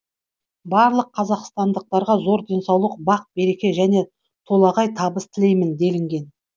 барлық қазақстандықтарға зор денсаулық бақ береке және толағай табыс тілеймін делінген